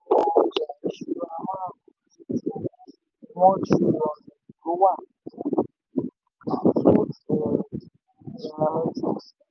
one triliọ̀nù ló wà swoots ní nairametrics.